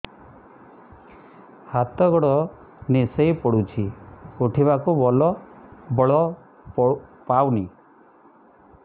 ହାତ ଗୋଡ ନିସେଇ ପଡୁଛି ଉଠିବାକୁ ବଳ ପାଉନି